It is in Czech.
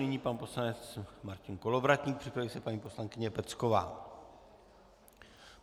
Nyní pan poslanec Martin Kolovratník, připraví se paní poslankyně Pecková.